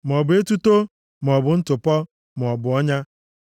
maọbụ etuto, maọbụ ntụpọ, maọbụ ọnya.